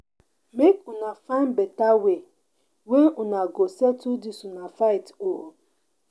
Make una find beta way wey una go settle dis una fight o.